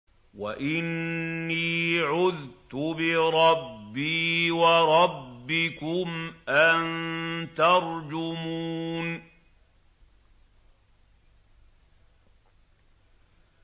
وَإِنِّي عُذْتُ بِرَبِّي وَرَبِّكُمْ أَن تَرْجُمُونِ